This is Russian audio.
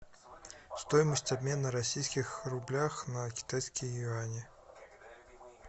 стоимость обмена российских рублях на китайские юани